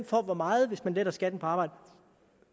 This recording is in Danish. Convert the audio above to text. får hvor meget hvis man letter skatten på arbejde